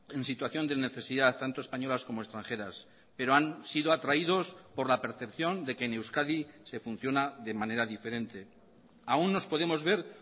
en situación de necesidad tanto españolas como extranjeras pero han sido atraídos por la percepción de que en euskadi se funciona de manera diferente aún nos podemos ver